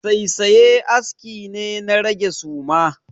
Saisaye aski ne na rage suma.